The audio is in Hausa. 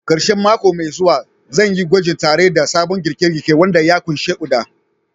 Karshen mako mai zuwa, zan yi gwaji tare da sabon girke-girke wanda ya ƙunshi Uda.